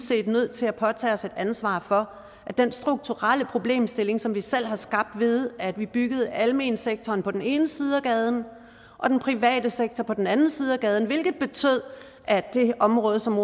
set nødt til at påtage os et ansvar for den strukturelle problemstilling som vi selv har skabt ved at vi byggede almensektoren på den ene side af gaden og den private sektor på den anden side af gaden hvilket betød at det område som